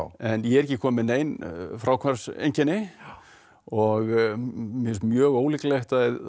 en ég er ekki komin með nein fráhvarfseinkenni og mér finnst mjög ólíklegt að